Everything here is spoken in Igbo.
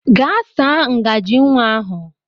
Gaa saa ngajị nwa ahụ!